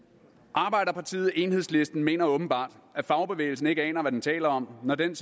arbejderpartiet enhedslisten mener åbenbart at fagbevægelsen ikke aner hvad den taler om når den